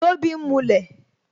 Tobi ń mulẹ̀